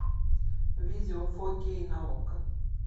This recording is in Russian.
видео фокей на окко